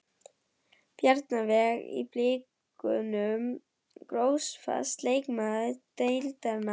Bjarnveig í blikunum Grófasti leikmaður deildarinnar?